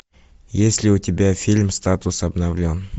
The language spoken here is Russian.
есть ли у тебя фильм статус обновлен